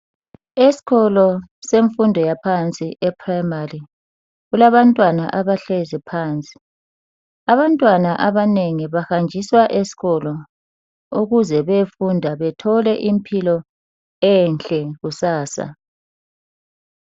Esikolo semfundo yaphansi e primary kulabantwana abahlezi phansi. Abantwana abanengi bahanjiswa esikolo ukuze beyefunda bethole impilo enhle kusasa.